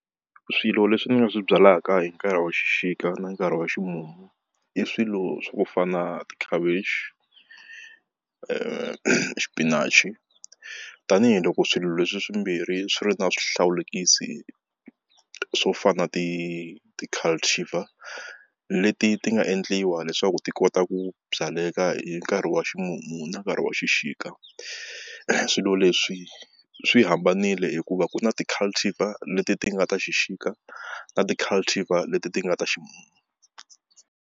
Swilo leswi ni nga swi byalaka hi nkarhi wa xixika na nkarhi wa ximumu i swilo swa ku fana tikhavichi xipinachi tanihiloko swilo leswi swimbirhi swi ri na swihlawulekisi swo fana na ti ti leti ti nga endliwa leswaku ti kota ku byaleka hi nkarhi wa ximumu na nkarhi wa xixika swilo leswi swi hambanile hikuva ku na ti leti ti nga ta xixika na ti leti ti nga ta ximumu.